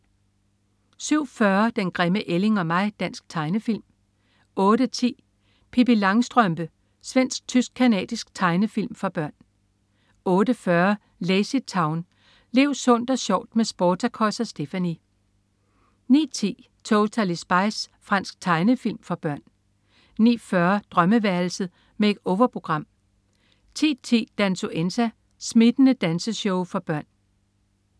07.40 Den grimme ælling og mig. Dansk tegnefilm 08.10 Pippi Langstrømpe. Svensk-tysk-canadisk tegnefilm for børn 08.40 LazyTown. Lev sundt og sjovt med Sportacus og Stephanie! 09.10 Totally Spies. Fransk tegnefilm for børn 09.40 Drømmeværelset. Make-over-program 10.10 Dansuenza. Smittende danseshow for børn